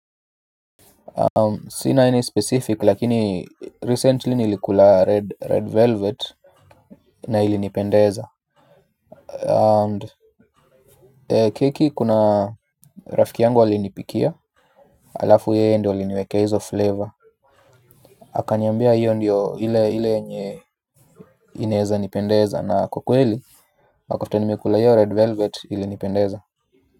Sina any specific lakini recently nilikula red velvet na ilinipendeza. Keki kuna rafiki yangu alinipikia. Alafu yeye ndio aliniwekea hizo flavor akanyambia hiyo ndiyo ile ile yenye inaeza nipendeza na kwa kweli after nimekula hiyo red velvet ilinipendeza.